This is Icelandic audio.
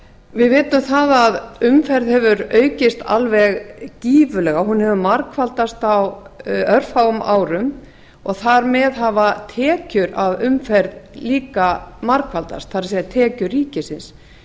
við vitum það að umferð hefur aukist alveg gífurlega hún hefur margfaldast á örfáum árum og þar með hafa tekjur af umferð líka margfaldast það er tekjur ríkisins